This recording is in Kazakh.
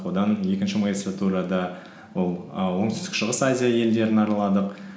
одан екінші магистратурада ол і оңтүстік шығыс азия елдерін араладық